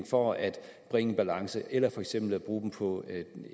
for at bringe balance eller for eksempel bruge det på